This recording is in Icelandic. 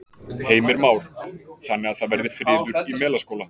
Heimir Már: Þannig að það verði friður í Melaskóla?